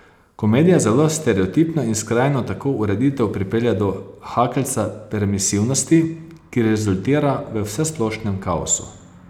Komedija zelo stereotipno in skrajno tako ureditev pripelje do hakeljca permisivnosti, ki rezultira v vsesplošnem kaosu.